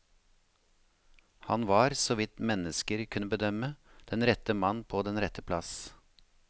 Han var, såvidt mennesker kunne bedømme, den rette mann på den rette plass.